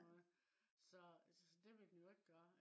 så så det ville den jo ikke gøre